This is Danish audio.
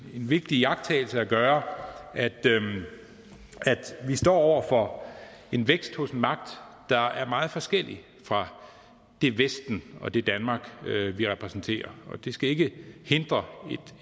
vigtig iagttagelse at gøre at vi står over for en vækst hos en magt der er meget forskellig fra det vesten og det danmark vi repræsenterer og det skal ikke hindre